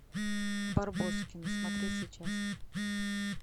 барбоскины смотреть сейчас